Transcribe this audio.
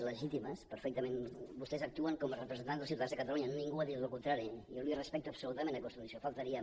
legítimes perfectament vostès actuen com a representants dels ciutadans de catalunya ningú ha dit el contrari jo li respecto absolutament aquesta qüestió només faltaria